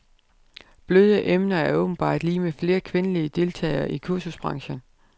Bløde emner er åbenbart lig med flere kvindelige deltagere i kursusbranchen.